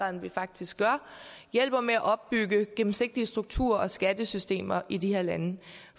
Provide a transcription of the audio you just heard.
end vi faktisk gør hjælper med at opbygge gennemsigtige strukturer og skattesystemer i de her lande